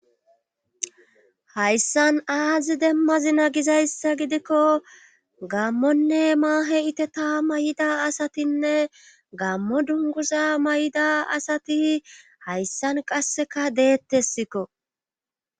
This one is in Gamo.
hayssan aazi demmazina gizayssa gidikko gammonne maahe ite taa mayida asatinne gammo dunguza may7ida asati hayssan qasseka deettesikko